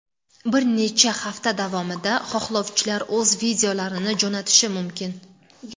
Bir necha hafta davomida xohlovchilar o‘z videolarini jo‘natishi mumkin.